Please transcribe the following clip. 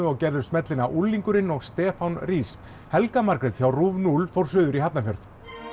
og gerðu smellina unglingurinn og Stefán rís helga Margrét hjá núll fór suður í Hafnarfjörð